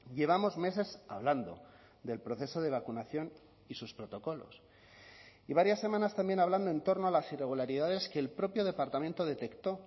llevamos meses hablando del proceso de vacunación y sus protocolos y varias semanas también hablando en torno a las irregularidades que el propio departamento detectó